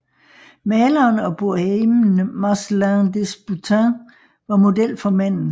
Maleren og bohemen Marcellin Desboutin var model for manden